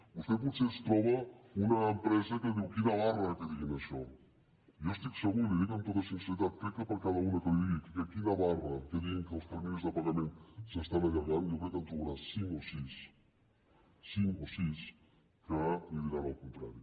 vostè potser es troba una empresa que diu quina barra que diguin això jo n’estic segur i li ho dic amb tota sinceritat crec que per cada una que li digui que quina barra que diguin que els terminis de pagament s’estan allargant jo crec que en trobarà cinc o sis cinc o sis que li diran el contrari